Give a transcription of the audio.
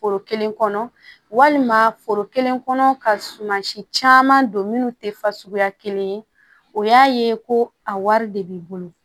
Foro kelen kɔnɔ foro kelen kɔnɔ ka suman si caman don minnu tɛ fasuguya kelen ye o y'a ye ko a wari de b'i bolo